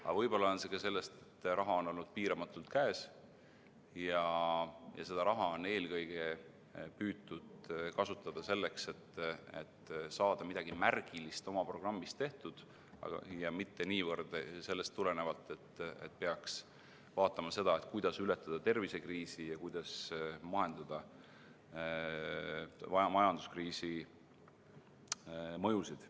Aga võib-olla on see ka sellest, et raha on olnud piiramatult käes ja seda on eelkõige püütud kasutada selleks, et saada midagi märgilist oma programmist tehtud, aga mitte ei ole tegutsetud niivõrd sellest tulenevalt, et peaks vaatama seda, kuidas ületada tervisekriisi ja kuidas majanduskriisi mõjusid.